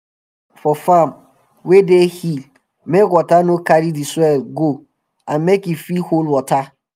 we build house for farm wey dey hill make water no carry d soil go and make e fit hold water